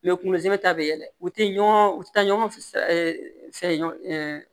U bɛ kunkolo zɛ ta bɛ yɛlɛ u tɛ ɲɔgɔn u tɛ taa ɲɔgɔn fɛ